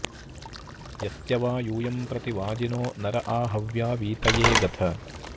यस्य वा यूयं प्रति वाजिनो नर आ हव्या वीतये गथ